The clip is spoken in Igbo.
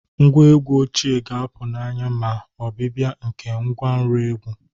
Ngwa egwu ochie ga-apụ n'anya ma ọbịbịa nke ngwanro egwu